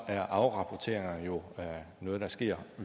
er afrapporteringer jo noget der sker